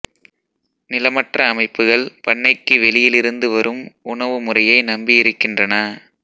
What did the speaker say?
நிலமற்ற அமைப்புகள் பண்ணைக்கு வெளியிலிருந்து வரும் உணவு முறையை நம்பியிருக்கின்றன